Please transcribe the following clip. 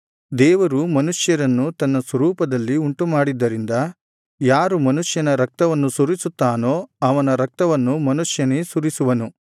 ದೇವರು ಮನುಷ್ಯರನ್ನು ತನ್ನ ಸ್ವರೂಪದಲ್ಲಿ ಉಂಟುಮಾಡಿದ್ದರಿಂದ ಯಾರು ಮನುಷ್ಯನ ರಕ್ತವನ್ನು ಸುರಿಸುತ್ತಾನೋ ಅವನ ರಕ್ತವನ್ನು ಮನುಷ್ಯನೇ ಸುರಿಸುವನು